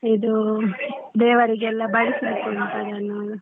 ಇದು ದೇವರಿಗೆಲ್ಲಾ ಬಡಿಸ್ಲಿಕ್ಕೆ ಉಂಟು .